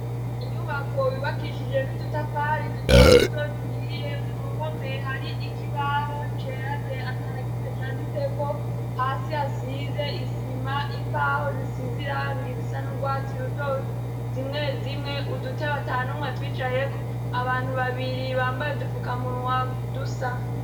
Inyubako yubakishije n'udutafari duto duto duhiye ku ruhome hari ikibaho cera de atanakimwe canditseko, hasi hasize isima imbaho zisize irangi zisa n'urwatsi rutoto zimwe zimwe udutebe atanumwe atwicayeko, abantu babiri bambaye udufukamunwa dusa.